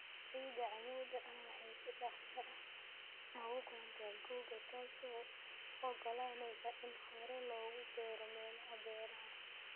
Ciida cammuudda ah waxay si dhakhso ah u kululaataa guga, taasoo u oggolaanaysa in hore loogu beero meelaha beeraha.